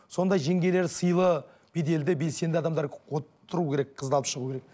сондай жеңгелер сыйлы беделді белсенді адамдар вот тұру керек қызды алып шығу керек